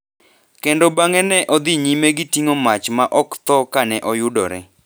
kendo bang’e ne odhi nyime gi ting’o mach ma ok tho ka ne oyudore.